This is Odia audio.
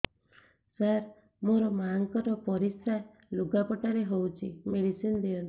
ସାର ମୋର ମାଆଙ୍କର ପରିସ୍ରା ଲୁଗାପଟା ରେ ହଉଚି ମେଡିସିନ ଦିଅନ୍ତୁ